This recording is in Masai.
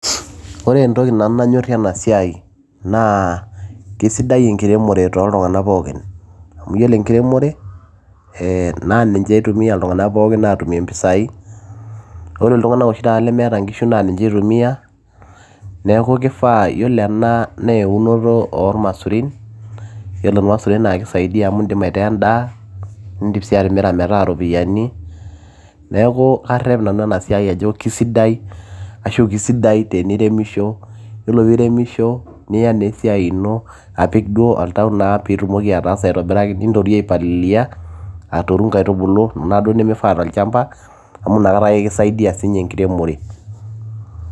Ore entoki nanu nanyorie enasiai naa kesidai enkiremore toltunganak pookin, amu iyolo enkiremore ,ee naninye eitumia ltunganak pookin atumie mpisai ,ore ltunganak oshi taata lemeeta nkishu na ninche itumia ,neaku kifaa ore ena naa eunoto ormasurin ,yioolo maisurin na keisaidia amu indim aitaa endaa, indim sii atimira metaa ropiyiani ,neaku karep nanu enasiai ajo keisidai ashu kesidai teneiremisho yiolo ajo ore peiremisho apik oltau duo peitumoki ataasa aitobiraki nintorio ai palilia aitubulu nkaitubulu kuna duo nemeifaaa tolchamba amu nakata ake sinye kisaidia enkiremore.